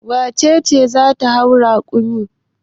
Wace ce za ta hau rakumi?